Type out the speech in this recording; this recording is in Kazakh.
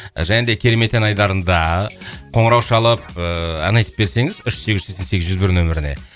және де керемет ән айдарында қоңырау шалып ыыы ән айтып берсеңіз үш сегіз жүз сексен сегіз жүз бір нөміріне